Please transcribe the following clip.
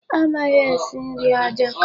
Amaghị esi nri ajọka